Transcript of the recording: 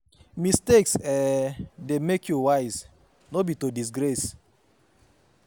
Mistakes um de make you wise, no be to disgrace